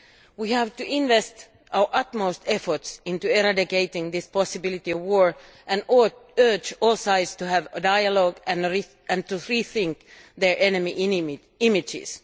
We have to invest our utmost efforts into eradicating this possibility of war and urge all sides to have a dialogue and to rethink their enemy images.